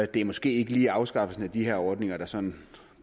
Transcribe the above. det er måske ikke lige afskaffelsen af de her ordninger der sådan